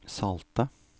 salte